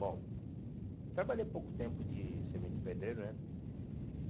Bom, trabalhei pouco tempo de servente de pedreiro, né?